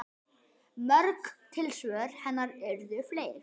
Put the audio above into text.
Mörg tilsvör hennar urðu fleyg.